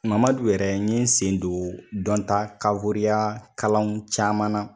Mamadu yɛrɛ n ɲe sen don dɔnta kalanw caman na.